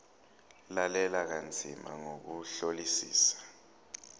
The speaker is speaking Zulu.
lalela kanzima ngokuhlolisisa